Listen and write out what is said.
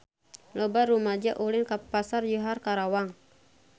Loba rumaja ulin ka Pasar Johar Karawang